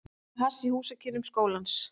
Neyta hass í húsakynnum skólans.